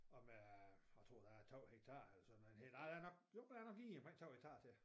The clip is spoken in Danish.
Og med jeg tror der er 2 hektarer eller sådan noget hel ej der er nok jo der er nok lige omkring 2 hektarer til